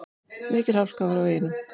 Mikil hálka var á veginum.